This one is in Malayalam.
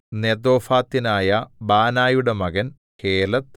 നെതോഫാത്യനായ ബാനയുടെ മകൻ ഹേലെദ്